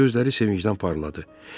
Gözləri sevincdən parladı.